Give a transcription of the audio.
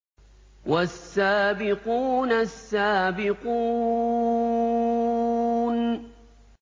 وَالسَّابِقُونَ السَّابِقُونَ